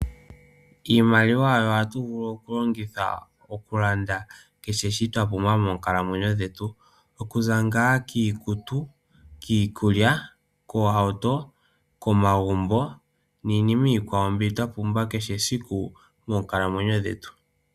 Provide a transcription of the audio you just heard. Iimaliwa oyo hatu vulu okulongitha okulanda kehe shoka twa pumbwa moonkalamwenyo dhetu. Okuza ngaa kiikutu, kiikulya, koohauto, komagumbo niinima iikwawo mbi twa pumbwa kehe esiku moonkalamwenyo dhetu.